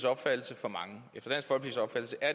opfattelse for mange